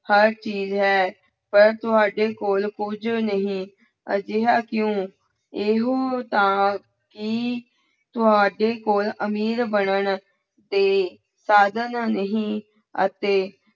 ਹਰ ਚੀਜ਼ ਹੈ ਪਰੰਤੂ ਸਾਡੇ ਕੋਲ ਕੁੱਝ ਨਹੀਂ, ਅਜਿਹਾ ਕਿਉਂ ਇਹੋ ਤਾਂ ਹੀ ਤੁਹਾਡੇ ਕੋਲ ਅਮੀਰ ਬਣਨ ਦੇ ਸਾਧਨ ਨਹੀਂ ਅਤੇ